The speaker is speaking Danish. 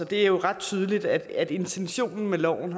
det er jo ret tydeligt at intentionen med loven